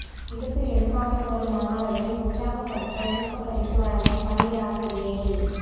விடுப்பு எடுக்காமல் வரும் மாணவர்களை உற்சாகப்படுத்த ஊக்கப் பரிசு வழங்கும் பள்ளி ஆசிரியை